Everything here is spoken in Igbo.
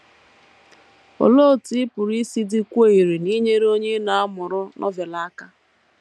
Olee otú ị pụrụ isi dịkwuo irè n’inyere onye ị na - amụrụ Novel aka?